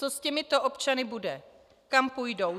Co s těmito občany bude, kam půjdou?